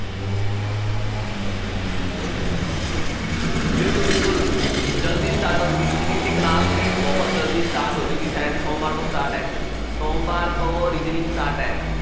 ਬਿਲਕੁਲ ਬਿਲਕੁਲ ਜ਼ਲਦੀ start ਹੋ ਜਾਊਗੀ ਦੀ class ਵੀ ਬਹੁਤ ਜ਼ਲਦੀ start ਹੋ ਜਾਊਗੀ ਸ਼ਾਇਦ ਸੋਮਵਾਰ ਤੋਂ start ਹੈ ਸੋਮਵਾਰ ਤੋਂ start ਹੈ